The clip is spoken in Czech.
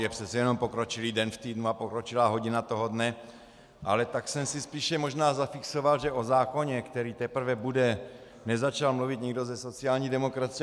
Je přece jenom pokročilý den v týdnu a pokročilá hodina toho dne, ale tak jsem si spíše možná zafixoval, že o zákoně, který teprve bude, nezačal mluvit nikdo ze sociální demokracie.